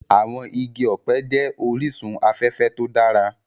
Àwọn igi ọ̀pẹ jẹ́ orísun afẹ́fẹ́ to dára